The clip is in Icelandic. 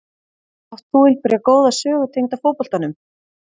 Átt þú einhverja góða sögu tengda fótboltanum?